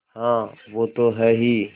हाँ वो तो हैं ही